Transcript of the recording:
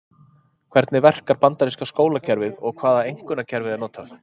Hvernig verkar bandaríska skólakerfið og hvaða einkunnakerfi er notað?